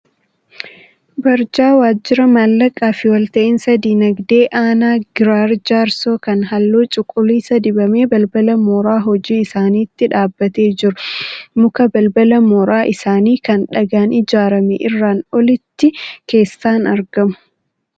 Barjaa Waajjira Maallaqaa fi Walta'insa Diinagdee Aanaa Giraar Jaarsoo kan halluu cuquliisa dibamee balbala mooraa hojii isaaniitti dhaabatee jiru, muka balbala mooraa isaanii kan dhagaan ijaarame irraan olitti keessaan argamu.